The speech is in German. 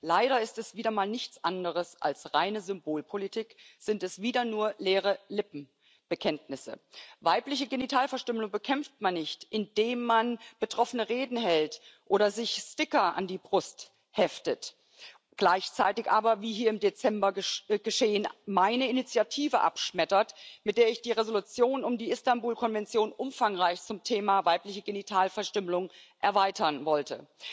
Leider ist es wieder einmal nichts anderes als reine Symbolpolitik, sind es wieder nur leere Lippenbekenntnisse. Weibliche Genitalverstümmelung bekämpft man nicht, indem man betroffene Reden hält oder sich Sticker an die Brust heftet, gleichzeitig aber wie hier im Dezember geschehen meine Initiative abschmettert, mit der ich die Entschließung um die Istanbul Konvention umfangreich zum Thema Weibliche Genitalverstümmelung erweitern wollte.